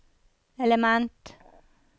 element